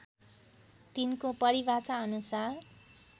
तिनको परिभाषा अनुसार